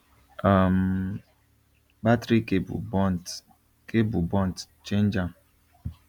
um battery cable burnt cable burnt change am